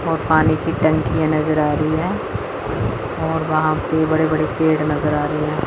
और पानी की टंकी है नजर आ रही है और वहां पे बड़े बड़े पेड़ नजर आ रही है।